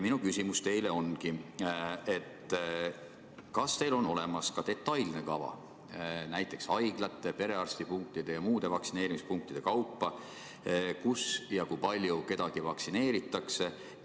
Minu küsimus teile ongi: kas teil on olemas ka detailne kava näiteks haiglate, perearstipunktide ja muude vaktsineerimispunktide kaupa, kus ja kui palju kedagi vaktsineeritakse?